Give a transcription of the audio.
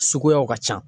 Suguyaw ka ca